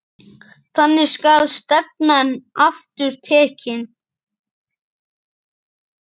Þangað skal stefnan aftur tekin.